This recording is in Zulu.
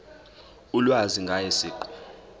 ulwazi ngaye siqu